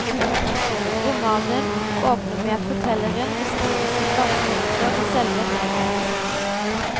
Romanen åpner med at fortelleren beskriver sine vanskeligheter ved selve nedtegnelsen.